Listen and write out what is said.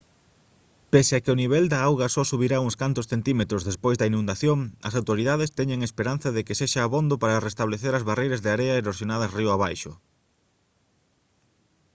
pese a que o nivel da auga só subirá uns cantos centímetros despois da inundación as autoridades teñen esperanza de que sexa abondo para restablecer as barreiras de area erosionadas río abaixo